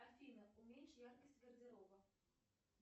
афина уменьши яркость гардероба